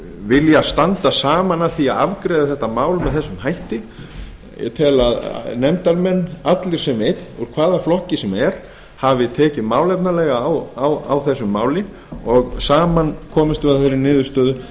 vilja standa saman að því að afgreiða þetta mál með þessum hætti ég tel að nefndarmenn allir sem einn úr hvaða flokki sem er hafi tekið málefnalega á þessu máli og saman komumst við að þeirri niðurstöðu